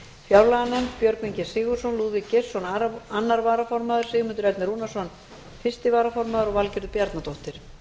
fjárlaganefnd björgvin g sigurðsson lúðvík geirsson annar varaformaður sigmundur ernir rúnarsson fyrsti varaformaður og valgerður bjarnadóttir